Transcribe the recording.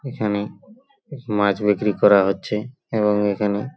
এখানে মাছ বিক্রি করা হচ্ছে এবং এখানে --